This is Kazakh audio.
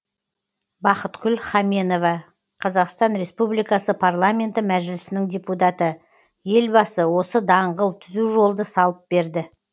бақытгүл хаменова қазақстан республикасының парламенті мәжілісінің депутаты елбасы осы даңғыл түзу жолды салып берді